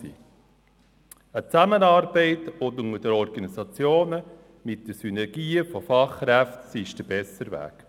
Eine enge Zusammenarbeit zwischen den Organisa- tionen und die Nutzung von Synergien bei den Fachkräften ist der bessere Weg.